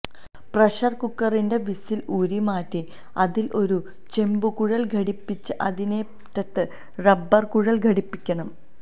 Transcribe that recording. pressure കുക്കറിന്റെ whistle ഊരി മാറ്റി അതിൽ ഒരു ചെമ്പു കുഴൽ ഘടിപ്പിച്ച് അതിനറ്റത്ത് റബ്ബർ കുഴൽ ഘടിപ്പിക്കണം